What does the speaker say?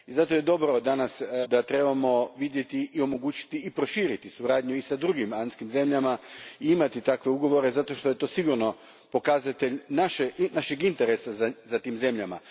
Zato je dobro danas rečeno da trebamo vidjeti, omogućiti i proširiti suradnju s drugim andskim zemljama te imati takve ugovore jer je to sigurno pokazatelj našeg interesa za tim zemljama.